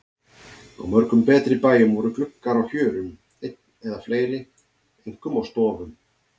Á mörgum betri bæjum voru gluggar á hjörum einn eða fleiri, einkum á stofum.